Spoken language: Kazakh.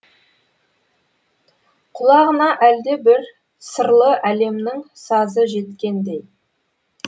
құлағына әлдебір сырлы әлемнің сазы жеткендей